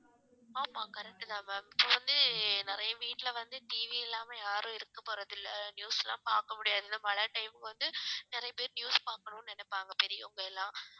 ஆமா correct தான் ma'am இப்போ வந்து நிறைய வீட்டுல வந்து TV இல்லாம யாரும் இருக்கப் போறது இல்லை news லாம் பார்க்க முடியாது மழை time க்கு வந்து நிறைய பேர் news பார்க்கணும்னு நினைப்பாங்க பெரியவங்க எல்லாம்